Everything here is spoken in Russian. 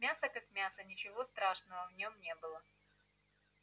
мясо как мясо ничего страшного в нём не было